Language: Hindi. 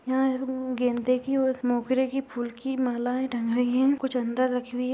यहाँ उम्म गेंदे की और मोगरे की फूल की मालाए टांगाई है कुछ अंदर रखी हुई है।